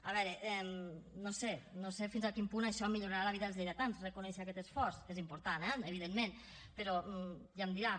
a veure no ho sé no sé fins a quin punt això millorarà la vida dels lleidatans reconèixer aquest esforç que és important eh evidentment però ja em dirà